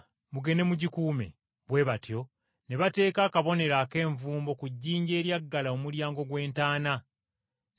Bwe batyo ne bateeka akabonero ak’envumbo ku jjinja eryaggala omulyango gw’entaana, ne bateekawo n’abakuumi.